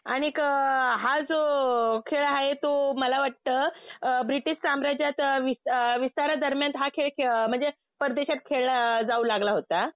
आणिक हा जो खेळ आहे तो मला वाटतं ब्रिटिश साम्राज्यात विस्तारादरम्यान हा खेळ म्हणजे परदेशात खेळला जाऊ लागला होता.